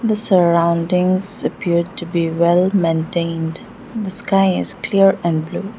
the surroundings appear to be well maintained the sky is clear and blue.